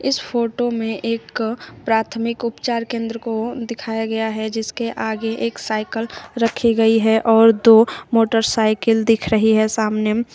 इस फोटो में एक प्राथमिक उपचार केंद्र को दिखाया गया है जिसके आगे एक साइकल रखी गई है और दो मोटरसाइकिल दिख रही है सामने।